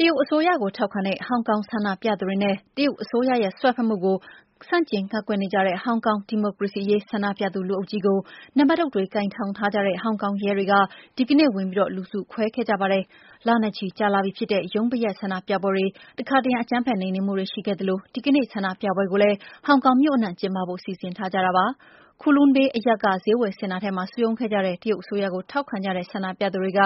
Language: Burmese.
တရုတ်အစိုးရကို ထောက်ခံတဲ့ ဟောင်ကောင် ဆန္ဒပြသူတွေနဲ့ တရုတ်အစိုးရရဲ့ စွက်ဖက်မှုကို ကန့်ကွက်နေကြတဲ့ ဟောင်ကောင် ဒီမိုကရေစီရေး ဆန္ဒပြသူ လူအုပ်ကြီးကို နံပါတ်တုတ်တွေ ကိုင်ဆောင်ထားကြတဲ့ ဟောင်ကောင်ရဲတွေက ဒီကနေ့ ဝင်ပြီး လူစုခွဲခဲ့ကြပါတယ်။ လနဲ့ချီ ကြာလာပြီဖြစ်တဲ့ ရုံးပိတ်ရက် ဆန္ဒပြပွဲတွေ တခါတရံ အကြမ်းဖက်နှိမ်နှင်းမှုတွေနဲ့ ရှိခဲ့သလို ဒီကနေ့ ဆန္ဒပြပွဲကိုလည်း ဟောင်ကောင်မြို့အနှံ့ ကျင်းပဖို့ စီစဉ်ထားတာပါ။ Kowloon Bay အရပ်က ဈေးဝယ်စင်တာထဲမှာ စုရုံးခဲ့ကြတဲ့ တရုတ်အစိုးရကို ထောက်ခံတဲ့ ဆန္ဒပြသူတွေက